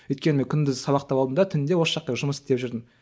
өйткені мен күндіз сабақта болдым да түнде осы жақта жұмыс істеп жүрдім